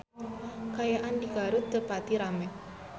Kaayaan di Garut teu pati rame